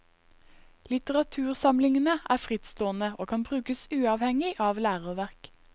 Litteratursamlingene er frittstående og kan brukes uavhengig av læreverk.